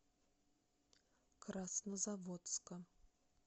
краснозаводска